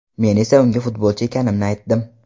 Men esa unga futbolchi ekanimni aytdim.